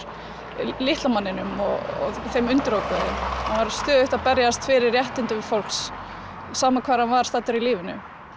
litla manninum og þeim undirokuðu hann var stöðugt að berjast fyrir réttindum fólks sama hvar hann var staddur í lífinu